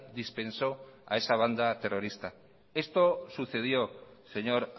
dispensó a esa banda terrorista esto sucedió señor